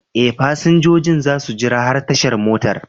Ee, fasinjojin za su jira a tashar motar.